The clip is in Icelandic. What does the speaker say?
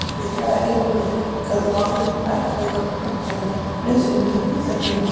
Þetta bitnaði ekki á búverkum, en gat valdið honum erfiðleikum og rænt hann nauðsynlegum hvíldartíma.